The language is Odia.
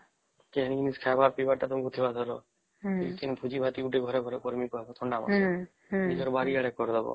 କେ ଏଣିକି ଖାଇବର ପିଇବାର ତ କେ ଭୋଜି ଭାତ ଟେ ନିଜ ଘର କେ କରିବାର ଥିବା ଥଣ୍ଡା ମାସେ ତ ନିଜର ବାରି ଆଡେ କରିଦବା